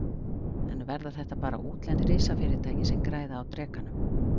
En verða þetta bara útlend risafyrirtæki sem græða á Drekanum?